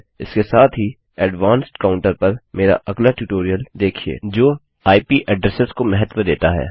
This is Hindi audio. इसके साथ ही एडवांस्डउच्च श्रेणी काउंटर पर मेरा अगला ट्यूटोरियल देखिये जो इप एड्रेसेस को महत्व देता है